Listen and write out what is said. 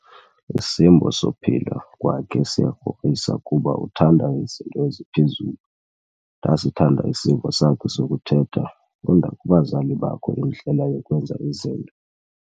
Isimbo sophila kwakhe siyakrokrisa kuba uthanda izinto eziphezulu. Ndasithanda isimbo sakhe sokuthetha, funda kubazali bakho indlela yokwenza izinto.